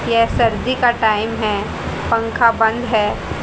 ये सर्दी का टाइम है पंखा बंद है।